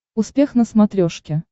успех на смотрешке